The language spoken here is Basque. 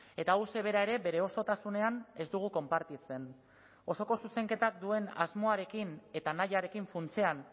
eta hauxe bera ere bere osotasunean ez dugu konpartitzen osoko zuzenketak duen asmoarekin eta nahiarekin funtsean